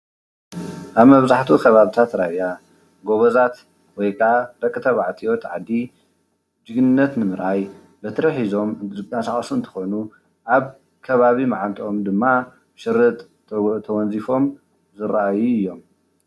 ኣብ መብዛሕቲኡ ከባብታት ራያ ጎበዛት ወይ ከዓ ደቂ ተባዕትዮ ደቂ ዓዲ ተኣኪቦም ጅግንነት ንምርኣይ በትሪ ሒዞም ዝቃሳቀሱ እንትኮኑ ኣብ ከባቢ ማዓንጠኦም ድማ ሽርጥ ተወዚፎም ዝረኣዩ እዮም።